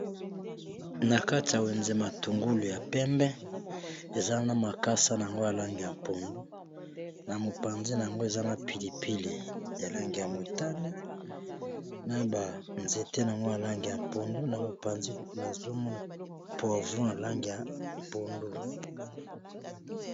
na kati ya wenze matungulu ya pembe eza na makasa na yango alange ya mpondu na mopanzi na yango eza na pilipili ya lange ya motani na banzete n yango alange ya mpondu na mopanzi nazomona povo alange ya mpondu